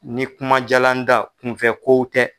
Ni kuma jaala n da kunfɛ kow tɛ.